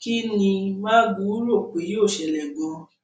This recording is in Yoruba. kín ní magu rò pé yóò ṣẹlẹ ganan